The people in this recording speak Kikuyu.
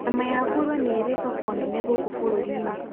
Nyama ya ngũrũe nĩ ĩrĩ thoko nene gũkũ bũrũri-inĩ.